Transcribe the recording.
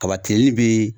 Kaba tilenli bee